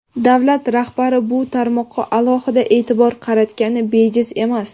Davlat rahbari bu tarmoqqa alohida e’tibor qaratgani bejiz emas.